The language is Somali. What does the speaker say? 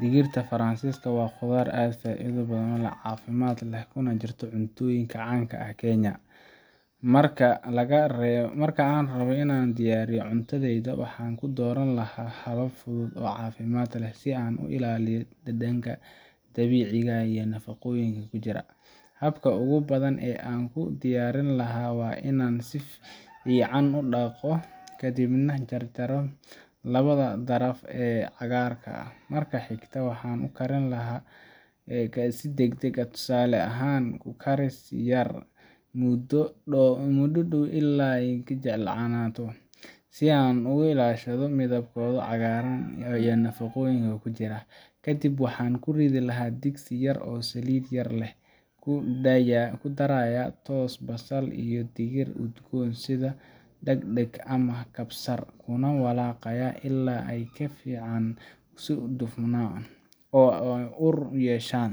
Digirta Faransiiska waa khudaar aad u faa’iido badan, caafimaad leh, kuna jirta cuntooyinka caan ka ah Kenya. Marka aan rabbo inaan ku diyaariyo cuntadayda, waxaan dooran lahaa habab fudud oo caafimaad leh si aan u ilaaliyo dhadhanka dabiiciga ah iyo nafaqooyinka ku jira. Habka ugu badan ee aan ugu diyaarin lahaa waa inaan si fiican u dhaqdo, kadibna jarjarayo labada daraf ee cagaarka ah. Marka xigta, waxaan u karin karaa si degdeg ah tusaale ahaan ku karis yar muddo dhow ah ilaa ay ka jilcaan, si ay u ilaashato midabkooda cagaaran iyo nafaqooyinka ku jira. Kadib waxaan ku ridi karaa digsi yar oo saliid yar leh, ku darayaa toos, basal, iyo dhir udgoon sida dhagdhag ama kabsar, kuna walaaqayaa ilaa ay si fiican u dufmaan oo u ur yeeshaan.